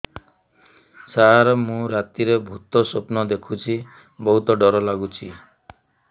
ସାର ମୁ ରାତିରେ ଭୁତ ସ୍ୱପ୍ନ ଦେଖୁଚି ବହୁତ ଡର ଲାଗୁଚି